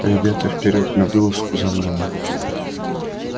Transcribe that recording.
ребята вперёд на вылазку за мною